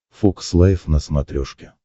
фокс лайв на смотрешке